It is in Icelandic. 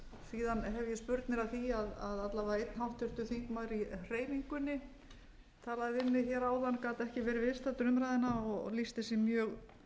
hef ég spurnir af því að alla vega einn háttvirtur þingmaður í hreyfingunni talaði við mig hér áðan gat ekki verið viðstaddur umræðuna og lýsti sig mjög